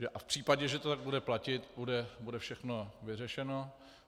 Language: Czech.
A v případě, že to tak bude platit, bude všechno vyřešeno.